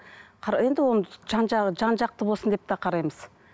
енді оны жан жақты болсын деп те қараймыз